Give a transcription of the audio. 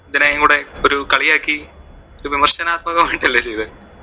ഇത്തിരിയും കൂടെ ഒരു കളിയാക്കി ഒരു വിമര്‍ശനാത്മകം ആയിട്ട് അല്ലെ ചെയ്തേ.